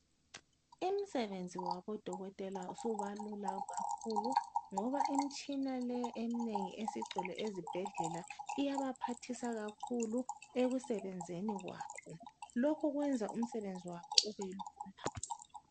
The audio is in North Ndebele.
Umsebenzi wabodoketela ususiba lula kakhulu ngoba imitshina le eminengi esigcwele ezibhedlela iyabaphathisa kakhulu ekusebenzeni kwabo, lokho kwenza umsebenzi wabo ubelula.